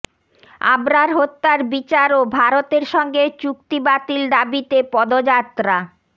আবরার হত্যার বিচার ও ভারতের সঙ্গে চুক্তি বাতিল দাবিতে পদযাত্রা